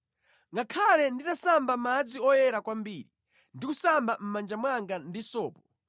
Ngakhale nditasamba mʼmadzi oyera kwambiri ndi kusamba mʼmanja mwanga ndi sopo,